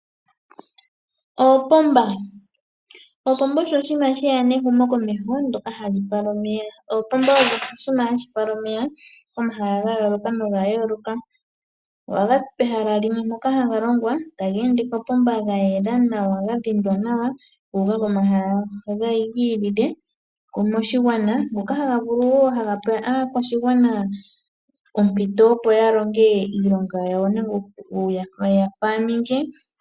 Oopomba Opomba osho oshinima she ya nehumokomeho ndyoka hali fala omeya. Oopomba odho oshinima hashi fala omeya komahala ga yoolokathana. Ohaga zi pehala limwe mpoka haga longwa taga ende mominino ndhoka dha yela nawa ga dhindwa nawa gu uka komahala galwe moshigwana ngoka haga vulu wo okupa aakwashigwana ompito, opo ya longe iilonga yawo nawa ngaashi muunamapya nuuniimuna.